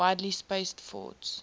widely spaced forts